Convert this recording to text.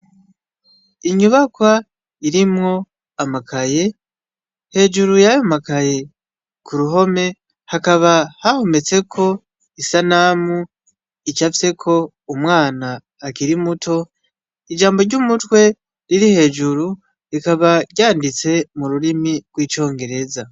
Inyubakwa irimwo amakaye, hejuru yayo makaye ku ruhome hakaba hahometseko isanamu icafyeko umwana akiri muto, ijambo ry'umutwe riri hejuru rikaba ryanditse mu rurimi rw'icongereza.